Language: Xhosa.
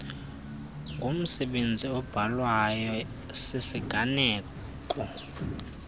ngumsebenzi obhalwayo sisiganeko